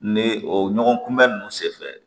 Ni o ɲɔgɔn kunbɛ nunnu se fɛ